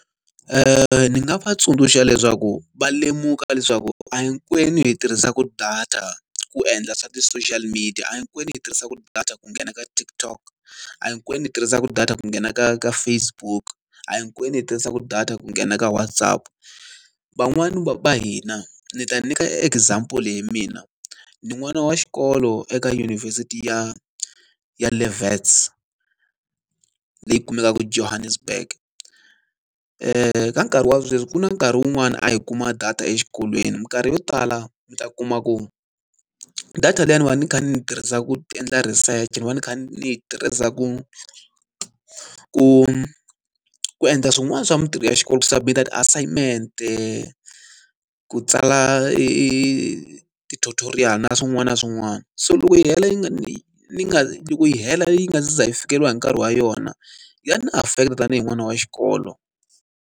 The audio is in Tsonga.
Ni nga va tsundzuxa leswaku va lemuka leswaku a hi hinkwenu hi tirhisaka data ku endla swa ti-social media. A hinkwenu hi tirhisaka data ku nghena ka TikTok, a hinkwenu hi tirhisaka data ku nghena ka ka Facebook, a hi hinkwenu hi tirhisaka data ku nghena ka WhatsApp. Van'wani va hina, ni ta nyika example leyi mina. Ni n'wana wa xikolo eka yunivhesiti ya ya le Wits, leyi kumekaka Johannesburg. Ka nkarhi wa sweswi ku na nkarhi wun'wani a hi kuma data exikolweni, minkarhi yo tala mi ta kuma ku data liyani va ni kha ni yi tirhisa ku endla research ni va ni kha ni yi tirhisa ku ku ku endla swin'wana swa mintirho ya xikolo. Ku submit-a ti-assignment-e, ku tsala ti-tutorial na swin'wana na swin'wana. So loko yi hela yi nga ni nga loko yi hela yi nga za yi fikeleriwa hi nkarhi wa yona, ya na affect-a tanihi n'wana wa xikolo.